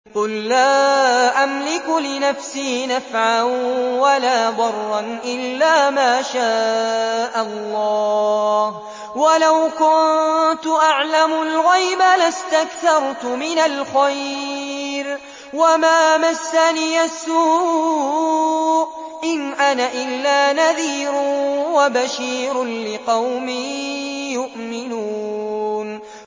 قُل لَّا أَمْلِكُ لِنَفْسِي نَفْعًا وَلَا ضَرًّا إِلَّا مَا شَاءَ اللَّهُ ۚ وَلَوْ كُنتُ أَعْلَمُ الْغَيْبَ لَاسْتَكْثَرْتُ مِنَ الْخَيْرِ وَمَا مَسَّنِيَ السُّوءُ ۚ إِنْ أَنَا إِلَّا نَذِيرٌ وَبَشِيرٌ لِّقَوْمٍ يُؤْمِنُونَ